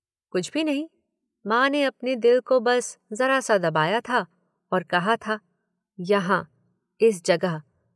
कुछ भी नहीं। माँ ने अपने दिल को बस जरा सा दबाया था और कहा था, यहाँ इस जगह।